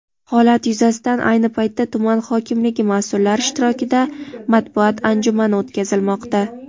holat yuzasidan ayni paytda tuman hokimligi mas’ullari ishtirokida matbuot anjumani o‘tkazilmoqda.